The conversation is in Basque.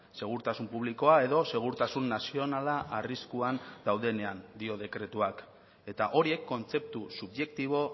segurtasun publikoa edo segurtasun nazionala arriskuan daudenean dio dekretuak eta horiek kontzeptu subjektibo